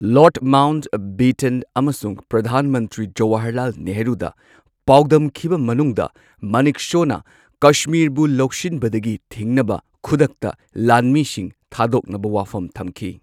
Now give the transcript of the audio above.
ꯂꯣꯔꯗ Mountbatten ꯑꯃꯁꯨꯡ ꯄ꯭ꯔꯙꯥꯟ ꯃꯟꯇ꯭ꯔꯤ ꯖꯋꯥꯍꯔꯂꯥꯜ ꯅꯦꯍꯔꯨꯗ ꯄꯥꯎꯗꯝꯈꯤꯕ ꯃꯅꯨꯡꯗ ꯃꯅꯦꯛꯁꯣꯅ ꯀꯁꯃꯤꯔꯕꯨ ꯂꯧꯁꯤꯟꯕꯗꯒꯤ ꯊꯤꯡꯅꯕ ꯈꯨꯗꯛꯇ ꯂꯥꯟꯃꯤꯁꯤꯡ ꯊꯥꯗꯣꯛꯅꯕ ꯋꯥꯐꯝ ꯊꯝꯈꯤ꯫